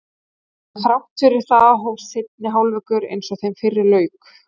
En þrátt fyrir það hófst seinni hálfleikur eins og þeim fyrri lauk.